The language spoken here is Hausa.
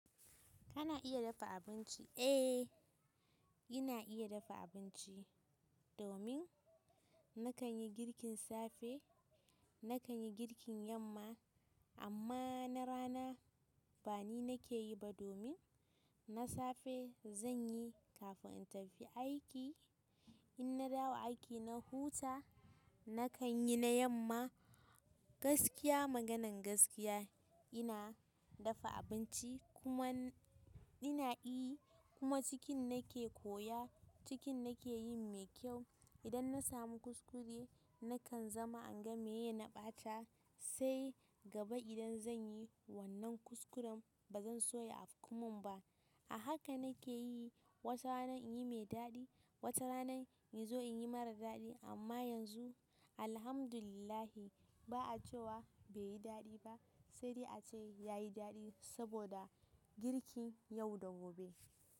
Kana iya dafa abinci? Eh, ina iya dafa abinci. Domin, na kan yi girkin safe, na kan yi girkin yamma. Amma na rana bani nake yi ba. Domin, na safe zan yi kafin in tafi aiki. In na dawo a aiki na huta, na kan yi na yamma. Gaskiya, maganan gaskiya ina dafa abinci kuma ina yi kuma cikin nake koya, cikin nake yin mai kyau. Idan na samu kuskure nakan zama inga maye na ɓata, sai gaba idan zan yi wannan kuskuren ba zan so ya afku mun ba. A haka nake yi, wata rana in yi mai daɗi, wata rana in zo in yi mara daɗi. Amma yanzu Alhamdulillah ba a cewa bai yi daɗi ba, sai dai a ce ya yi daɗi saboda girkin yau da gobe.